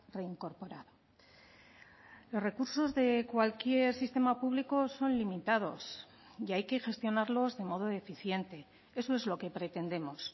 reincorporado los recursos de cualquier sistema público son limitados y hay que gestionarlos de modo eficiente eso es lo que pretendemos